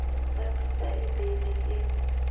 ba pitsa e bele o